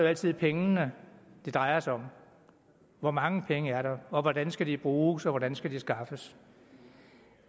altid pengene det drejer sig om hvor mange penge er der og hvordan skal de bruges og hvordan skal de skaffes